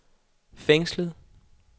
fængslet